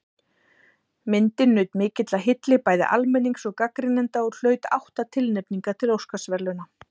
Myndin naut mikillar hylli bæði almennings og gagnrýnenda og hlaut átta tilnefningar til Óskarsverðlauna.